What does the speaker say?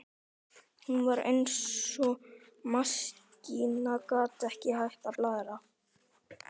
Hún var eins og maskína, gat ekki hætt að blaðra.